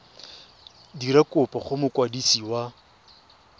dira kopo go mokwadisi wa